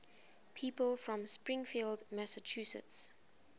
people from springfield massachusetts